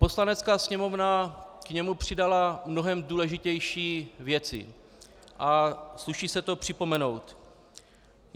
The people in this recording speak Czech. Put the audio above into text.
Poslanecká sněmovna k němu přidala mnohem důležitější věci a sluší se to připomenout.